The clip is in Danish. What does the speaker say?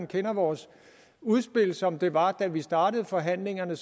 kendte vores udspil som det var da vi startede forhandlingerne